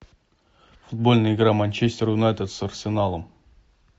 футбольная игра манчестер юнайтед с арсеналом